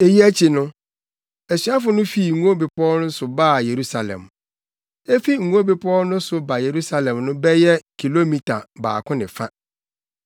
Eyi akyi no, asuafo no fii Ngo Bepɔw no so baa Yerusalem. Efi Ngo Bepɔw no so ba Yerusalem no bɛyɛ kilomita baako ne fa.